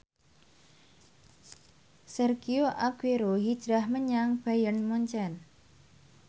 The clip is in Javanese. Sergio Aguero hijrah menyang Bayern Munchen